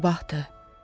Ümid sabahdır.